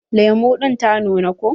Lemu ɗin ta nuna ko?